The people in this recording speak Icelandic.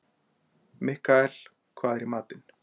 Mikkael, hvað er í matinn?